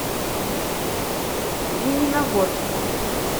лениногорску